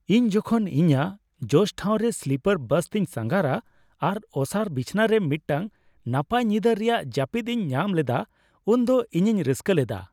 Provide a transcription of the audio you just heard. ᱤᱧ ᱡᱚᱠᱷᱚᱱ ᱤᱧᱟᱹᱜ ᱡᱚᱥᱴᱷᱟᱣ ᱨᱮ ᱥᱞᱤᱯᱟᱨ ᱵᱟᱥᱛᱤᱧ ᱥᱟᱸᱜᱷᱟᱨᱟ ᱟᱨ ᱚᱥᱟᱨ ᱵᱤᱪᱷᱱᱟᱹᱨᱮ ᱢᱤᱫᱴᱟᱝ ᱱᱟᱯᱟᱭ ᱧᱤᱫᱟᱹ ᱨᱮᱭᱟᱜ ᱡᱟᱹᱯᱤᱫ ᱤᱧ ᱧᱟᱢ ᱞᱮᱫᱟ ᱩᱱᱫᱚ ᱤᱧᱤᱧ ᱨᱟᱹᱥᱠᱟᱹ ᱞᱮᱫᱟ ᱾